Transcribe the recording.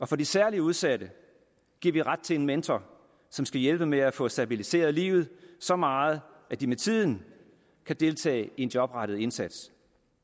for de særligt udsatte giver vi ret til en mentor som skal hjælpe med at få stabiliseret livet så meget at de med tiden kan deltage i en jobrettet indsats